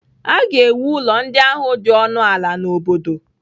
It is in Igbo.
A ga-ewu ụlọ ndị ahụ dị ọnụ ala n'obodo.